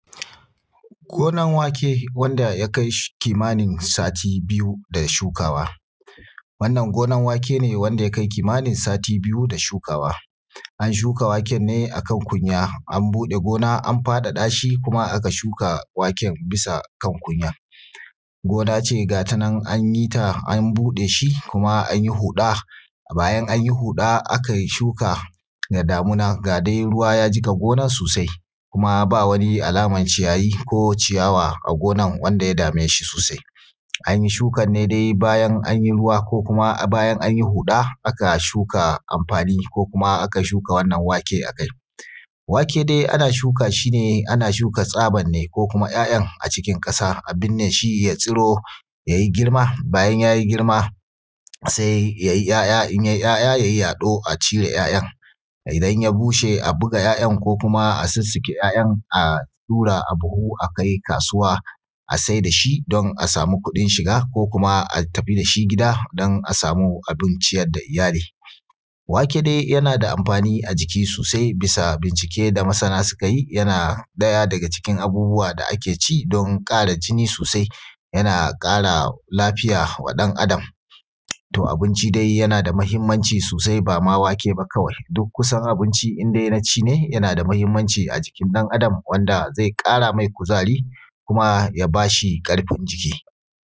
Gonan wake wanda ya kai kimanin sati biyu da shukawa. Wannan gonan wake ne wanda ya kai kimanin sati biyu da shukawa, an shuka waken ne a kan kunya, an buɗe gona, an faɗaɗa shi, kuma aka shuka waken bisa kan kunya. Gona ce ga ta nan an yi ta, an buɗe shi kuma an yi huɗa, bayan an yi huɗa akai shuka da damuna, ga dai ruwa ya jiƙa gona sosai, kuma ba wani alaman ciyayi ko ciyawa a gonan, wanda ya dame shi sosai. An yi shukan ne dai bayan an yi ruwa, ko kuma bayan an yi huɗa, aka shuka amfani ko kuma aka shuka wannan wake a kai. Wake dai ana shuka shi ne, ana shuka tsaban ne ko kuma ‘ya’yan a cikin ƙasa a binne shi ya tsiro, ya yi girma, bayan ya yi girma, sai ya yi ‘ya’ya, in ya yi ‘ya’ya, ya yi yaɗo a cire ‘ya’yan Idan ya bushe a buga ‘ya’yan, ko kuma a sussuke ‘ya’yan, a ɗura a buhu a kai kasuwa, a sai da shi don a samu kuɗin shiga ko kuma a tafi da shi gida, dan a samu abin ciyar da iyali. Wake dai yana da amfani a jiki sosai, bisa: bincike da masana suka yi, yana ɗaya daga cikin abubuwa da ake ci don ƙara jini sosai, yana ƙara lafiya wa ɗan Adam. To, abinci dai yana da mahimmanci sosai, ba ma wake ba kawai, duk kusan abinci in dai na ci ne, yana da mahimmanci a jikin ɗan Adam, wanda ze ƙara mai kuzari, kuma ya ba shi ƙarfin jiki.